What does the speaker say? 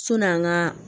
Sɔni an ka